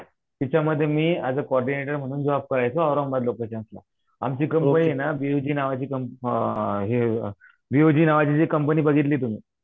तिच्यामध्ये मी as a कॉर्डीनेटवर म्हणून जॉब करायचो औरंगाबाद लोकेशन्सला आमची कंपनी ये ना नावाची अ हे बीओजी नावाची जी कंपनी बघितली तुम्ही